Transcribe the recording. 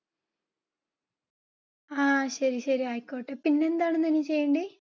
ആ ശരി ശരി ആയിക്കോട്ടെ. പിന്നെന്താ അമ്മേ ചെയ്യേണ്ട